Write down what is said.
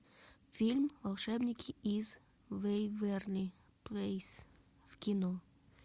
фильм волшебники из вэйверли плэйс в кино